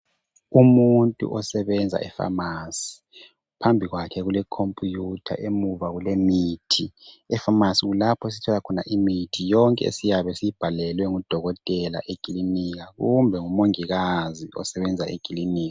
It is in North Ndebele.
Umuntu osebenza e pharmacy phambi kwakhe kule computer emuva kule mithi ,e pharmacy kulapho esithola khona imithi yonke esiyabe siyibhalelwe ngudokotela ekilinika kumbe ngumongikazi osebenza ekilinika.